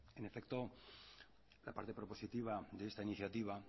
en efecto la parte prepositiva de esta iniciativa